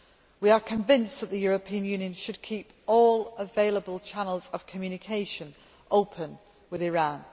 We are convinced that the European Union should keep all available channels of communication open with Iran.